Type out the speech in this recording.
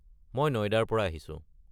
মই নইডাৰ পৰা আহিছো।